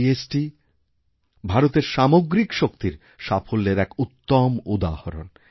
GST ভারতের সামগ্রিক শক্তির সাফল্যের এক উত্তম উদাহরণ